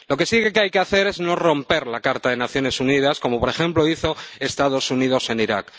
Lo que sí hay que hacer es no romper la Carta de las Naciones Unidas, como por ejemplo hizo Estados Unidos en Irak.